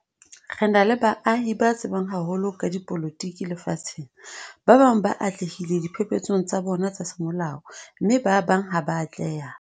Re na le baahi ba tsebang haholo ka dipolotiki lefatsheng. Ba bang ba atlehile diphephetsong tsa bona tsa semolao mme ba bang ha ba a atleha.